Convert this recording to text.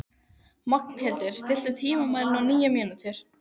Magnhildur, stilltu tímamælinn á níu mínútur.